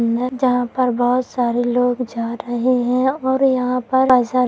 अंदर जहां पर बहुत सारे लोग जा रहे है और यहां पर अस --